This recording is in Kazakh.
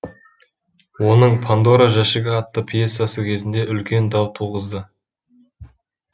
оның пандора жәшігі атты пьесасы кезінде үлкен дау туғызды